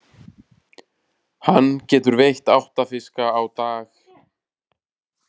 Hann getur veitt átta fiska á dag.